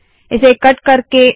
इसे कट करते है